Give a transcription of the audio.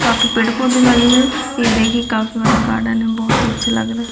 यहापे पेड़ पौधे लगे हुए है ये देखिए काफी बड़ागार्डन है बहुत ही अच्छा लग रहे है।